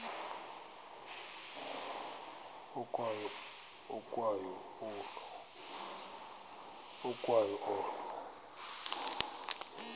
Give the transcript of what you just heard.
ukwa yo olo